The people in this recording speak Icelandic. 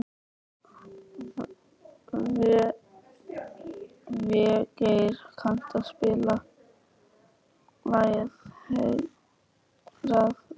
Végeir, kanntu að spila lagið „Heilræðavísur“?